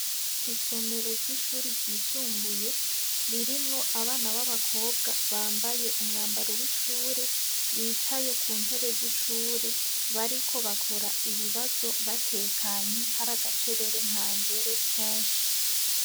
Isomero ry'ishuri ryisumbuye ririmwo abana b'abakobwa bambaye umwambaro w'ishuri, bicaye ku ntebe z'ishuri bariko bakora ibibazo batekanye hari agacerere ntangere kenshi